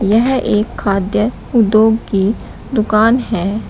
यह एक खाद्य उद्योग की दुकान है।